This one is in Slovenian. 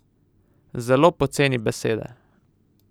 Zelo poceni besede.